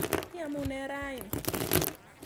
Iamune raini?